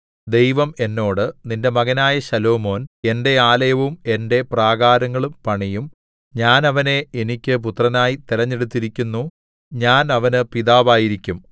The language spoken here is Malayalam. ദൈവം എന്നോട് നിന്റെ മകനായ ശലോമോൻ എന്റെ ആലയവും എന്റെ പ്രാകാരങ്ങളും പണിയും ഞാൻ അവനെ എനിക്ക് പുത്രനായി തിരഞ്ഞെടുത്തിരിക്കുന്നു ഞാൻ അവന് പിതാവായിരിക്കും